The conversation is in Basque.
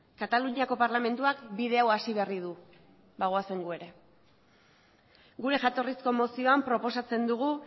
kataluniako parlamentuak bide hau hasi berri du ba goazen gu ere gure jatorrizko mozioan proposatzen dugu